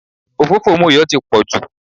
òfófó Moyo ti pọ̀ jù